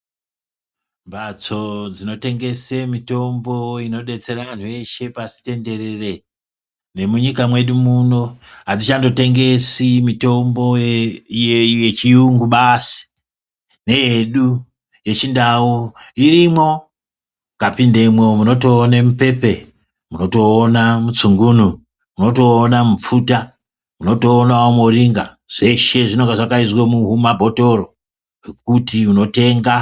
Mbatso dzinotengese mitombo inodetsera antu eshe pasi tenderere nemunyika muno adzichandotemgesi mitombo yechiyungu basi neyedu yechindau irimwo mukapindemwo munotoone mupepe, munotoone mutsungunu , munotoona mupfuta, munotoonawo muringa zveshe zvinenge zvakaiswa mumabhotoro mwekuti kunotenga.